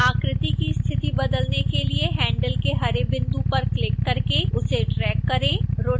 आकृति की स्थिति बदलने के लिए हैंडल के हरे बिंदु पर क्लिक करके उसे ड्रैग करें